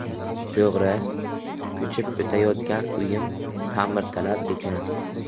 To‘g‘ri, ko‘chib o‘tayotgan uyim ta’mirtalab ekan.